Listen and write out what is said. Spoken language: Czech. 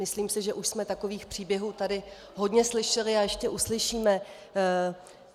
Myslím si, že už jsme takových příběhů tady hodně slyšeli a ještě uslyšíme.